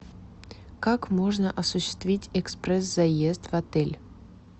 как можно осуществить экспресс заезд в отель